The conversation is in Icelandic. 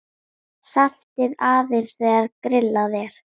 Saltið aðeins þegar grillað er.